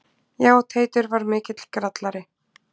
Já, Teitur var mikill grallari.